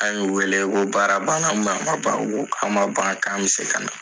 An y'u wele k'o baara banna u nana ko k'a ma ban k'an bɛ se ka na.